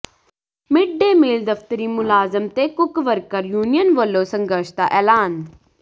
mid day meal ਦਫ਼ਤਰੀ ਮੁਲਾਜ਼ਮ ਤੇ ਕੁੱਕ ਵਰਕਰ ਯੂਨੀਅਨ ਵੱਲੋਂ ਸੰਘਰਸ਼ ਦਾ ਐਲਾਨ